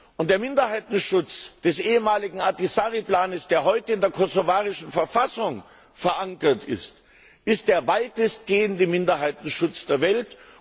Und der Minderheitenschutz des ehemaligen Ahtisaari Plans, der heute in der kosovarischen Verfassung verankert ist, ist der weitestgehende Minderheitenschutz der Welt.